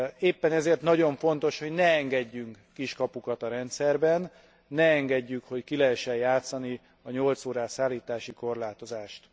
Éppen ezért nagyon fontos, hogy ne engedjünk kiskapukat a rendszerben, ne engedjük, hogy ki lehessen játszani a 8 órás szállítási korlátozást.